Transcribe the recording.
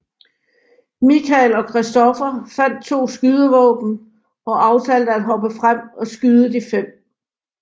Michael og Christopher fandt to skydevåben og aftalte at hoppe frem og skyde de fem